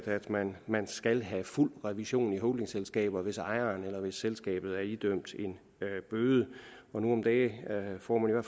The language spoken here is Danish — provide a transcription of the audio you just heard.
at man man skal have fuld revision i holdingselskaber hvis ejeren eller selskabet er idømt en bøde nu om dage får man jo